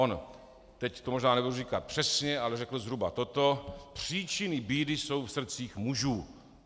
On, teď to možná nebudu říkat přesně, ale řekl zhruba toto: Příčiny bídy jsou v srdcích mužů.